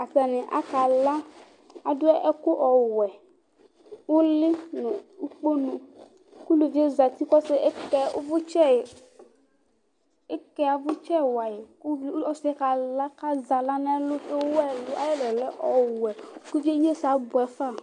Atanɩ akala Adʊ ɛkʊ ɔwɛ nulɩ nʊ ʊkponʊ, kʊlʊvɩe zatɩ kʊ eke avʊtsɛ wayɩ ku isɩ yɛ ɔkala kazawla nɛlʊ Ayɛlʊ lɛ ɔwɛ, kʊvɩe ayɛsɛ abʊɛfa